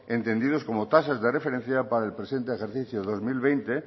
entendidos como tasas de referencia para el presente ejercicio dos mil veinte